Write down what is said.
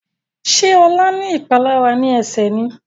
Ṣe Ola ní ìpalára ní Ẹsẹ̀ ní?